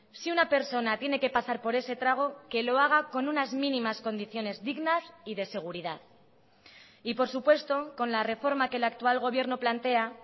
si una persona tiene que pasar por ese trago que lo haga con unas mínimas condiciones dignas y de seguridad y por supuesto con la reforma que el actual gobierno plantea